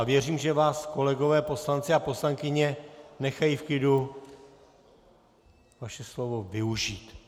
A věřím, že vás kolegové poslanci a poslankyně nechají v klidu vaše slovo využít.